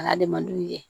A n'adamadenw ye